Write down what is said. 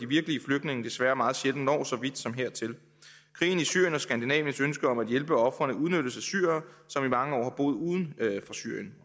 virkelige flygtninge desværre meget sjældent når så vidt som hertil krigen i syrien og skandinaviens ønske om at hjælpe ofrene udnyttes af syrere som i mange år har boet uden for syrien